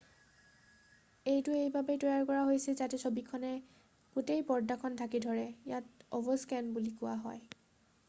এইটো এইবাবেই তৈয়াৰ কৰা হৈছে যাতে ছবিখনে গোটেই পৰ্দাখন ঢাকি ধৰে ইয়াক অভাৰস্কেন বুলি কোৱা হয়